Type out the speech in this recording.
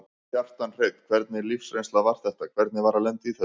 Kjartan Hreinn: Hvernig lífsreynsla var þetta, hvernig var að lenda í þessu?